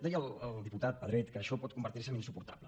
deia el diputat pedret que això pot convertir se en insuportable